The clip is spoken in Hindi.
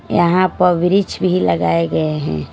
यहाँ पर ब्रिच भी लगाए गए हैं।